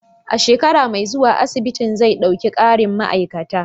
A shekara mai zuwa, asibitin zai ɗauki ƙarin ma'aikata.